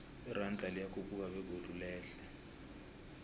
iranda liyakhuphuka begodu lehle